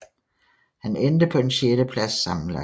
Han endte på en sjetteplads sammenlagt